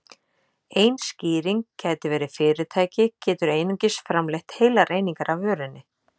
Ein skýring gæti verið að fyrirtæki getur einungis framleitt heilar einingar af vörunni.